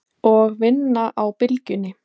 Og vinna á Bylgjunni?